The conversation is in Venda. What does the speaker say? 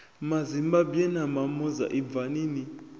mazimbabwe na mamoza ibvani ni